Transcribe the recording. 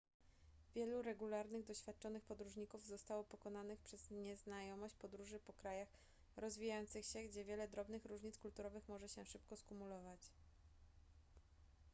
wielu regularnych doświadczonych podróżników zostało pokonanych przez nieznajomość podróży po krajach rozwijających się gdzie wiele drobnych różnic kulturowych może się szybko skumulować